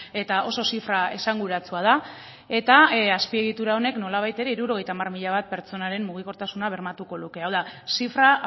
eta oso zifra esanguratsua da eta azpiegitura honek nolabait ere hirurogeita hamar mila bat pertsonaren mugikortasuna bermatuko luke hau da zifra